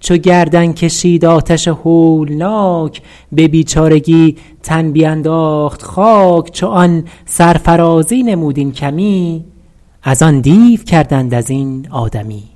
چو گردن کشید آتش هولناک به بیچارگی تن بینداخت خاک چو آن سرفرازی نمود این کمی از آن دیو کردند از این آدمی